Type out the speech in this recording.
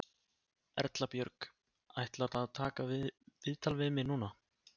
Erla Björg: Ætlarðu að taka viðtal við mig núna?